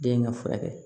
Den ka furakɛ